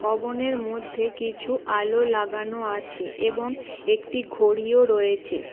ভবনের মধ্যে কিছু আলো লাগানো আছে এবং একটি ঘড়িও রয়েছে।